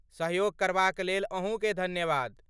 सहयोग करबाक लेल अहूँके धन्यवाद।